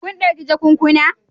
Kun dauki jakunkuna?